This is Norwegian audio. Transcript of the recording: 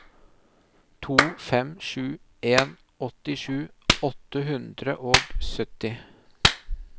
to fem sju en åttisju åtte hundre og sytti